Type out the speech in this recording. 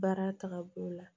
Baara tagabolo la